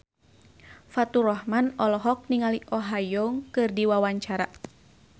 Faturrahman olohok ningali Oh Ha Young keur diwawancara